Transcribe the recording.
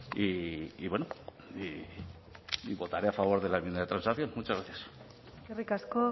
y bueno y votaré a favor de la enmienda de transacción muchas gracias eskerrik asko